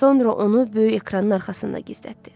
Sonra onu böyük ekranın arxasında gizlətdi.